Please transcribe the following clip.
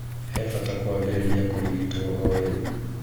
He bata kũambĩrĩria kũrigitwo o rĩu.